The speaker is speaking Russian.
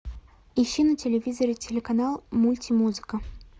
ищи на телевизоре телеканал мультимузыка